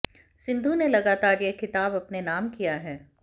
सिंधु ने लगतार यह खिताब अपने नाम किया है